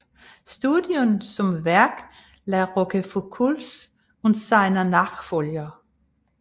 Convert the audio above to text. Studien zum Werk La Rochefoucaulds und seiner Nachfolger